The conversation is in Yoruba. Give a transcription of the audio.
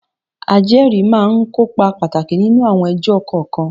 Ajẹ́rìí máa ń kópa pàtàkì nínú àwọn ẹjọ́ kọ̀ọ̀kan.